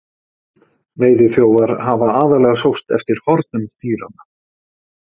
veiðiþjófar hafa aðallega sóst eftir hornum dýranna